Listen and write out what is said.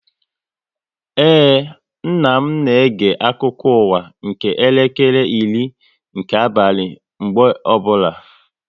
Ee, nna m na-ege akụkọ ụwa nke elekere iri nke abalị mgbe ọbụla